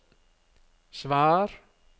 svar